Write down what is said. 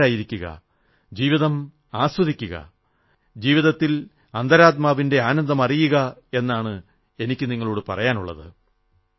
ശാന്തരായിരിക്കുക ജീവിതം ആസ്വദിക്കുക ജീവിതത്തിൽ അന്തരാത്മാവിന്റെ ആനന്ദം അറിയുക എന്നാണ് എനിക്കു നിങ്ങളോടു പറയാനുള്ളത്